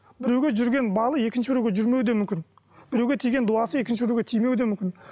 біреуге жүрген балы екінші біреуге жүрмеуі де мүмкін біреуге тиген дуасы екінші біреуге тимеуі де мүмкін